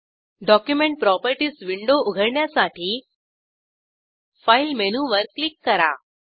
document properties window उघडण्यासाठी file मेनूवर click करा